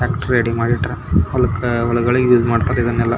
ಹೆಚ್ ಆಯ್ಗೆ ಟ್ಯಾಕ್ಟರ್ ಗಳನ್ನು ಬಲಕೆ ಮಾಡಿ--